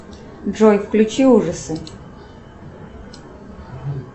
джой включи ужасы